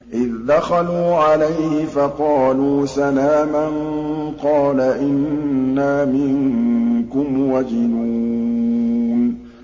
إِذْ دَخَلُوا عَلَيْهِ فَقَالُوا سَلَامًا قَالَ إِنَّا مِنكُمْ وَجِلُونَ